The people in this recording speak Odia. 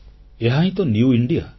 ଏହାହିଁ ତ ନିଉ ଇଣ୍ଡିଆ